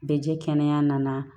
Bɛ jɛ kɛnɛya nana